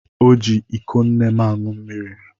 O ji iko nne m aṅụ mmiri.